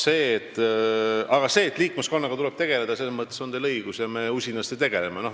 Selles, et liikmeskonnaga tuleb tegeleda, on teil õigus ja me usinasti sellega tegelemegi.